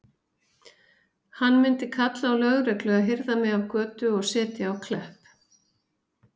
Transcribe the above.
Hann mundi kalla á lögreglu að hirða mig af götu og setja á Klepp.